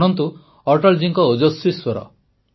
ଶୁଣନ୍ତୁ ଅଟଳ ଜୀଙ୍କ ଓଜସ୍ୱୀ ସ୍ୱର